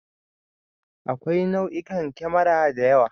Akwai nau'ikan kemara da yawa.